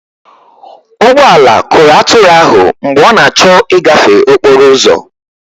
ụgbọ ala kụrụ atụrụ ahụ mgbe ọ na-achọ ịgafe okporo ụzọ